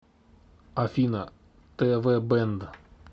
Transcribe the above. афина тэ вэ бэнд